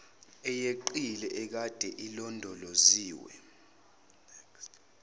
eyeqile ekade ilondoloziwe